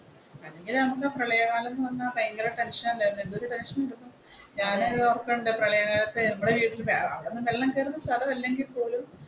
പ്രളയ കാലം എന്ന് പറഞ്ഞ ഭയങ്കര ടെൻഷൻ അല്ലായിരുന്നോ എന്തൊരു ടെൻഷൻ വെള്ളം കേറുന്ന സ്ഥലമല്ലെങ്കിൽ പോലും.